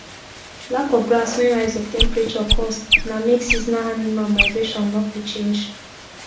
lack of grass wen rise of temperature cause na make seasonal animal migration nor fit change